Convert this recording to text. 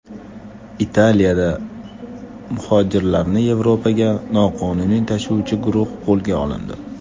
Italiyada muhojirlarni Yevropaga noqonuniy tashuvchi guruh qo‘lga olindi.